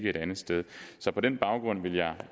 et andet sted så på den baggrund vil jeg